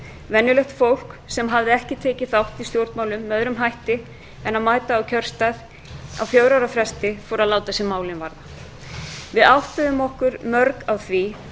venjulegt fólk sem hafði ekki tekið þátt í stjórnmálum með öðrum hætti en að mæta á kjörstað á fjögurra ára fresti fór að láta sig málin varða við áttuðum okkur mörg á því